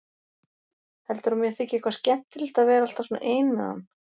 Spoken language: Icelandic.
Heldurðu að mér þyki eitthvað skemmtilegt að vera alltaf svona ein með hann?